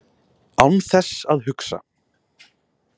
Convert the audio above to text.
Án þess að hugsa.